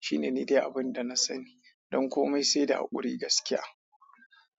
shi ne ni dai abin da na sani. Don komai sai da haƙuri gaskiya.